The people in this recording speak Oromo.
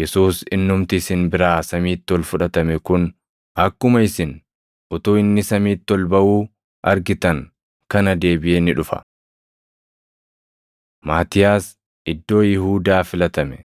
Yesuus innumti isin biraa samiitti ol fudhatame kun, akkuma isin utuu inni samiitti ol baʼuu argitan kana deebiʼee ni dhufa.” Maatiyaas Iddoo Yihuudaa Filatame